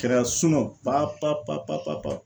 Kɛra pa pa pa pa pa pa